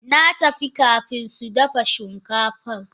Natafi kafin sudafa shinkafan.